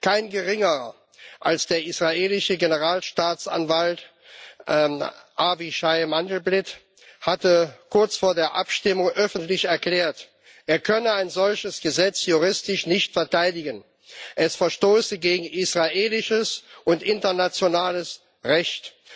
Kein Geringerer als der israelische Generalstaatsanwalt Avichai Mandelblit hatte kurz vor der Abstimmung öffentlich erklärt, er könne ein solches Gesetz juristisch nicht verteidigen es verstoße gegen israelisches und internationales Recht.